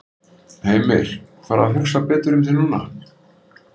Heimir: Fara að hugsa betur um þig núna?